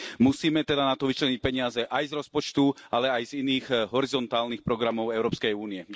Musíme teda na to vyčleniť peniaze aj z rozpočtu, ale aj z iných horizontálnych programov Európskej únie.